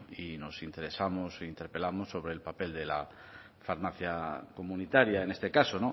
y nos interesamos e interpelamos sobre el papel de la farmacia comunitaria en este caso